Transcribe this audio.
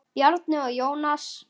Bjarni og Jónas.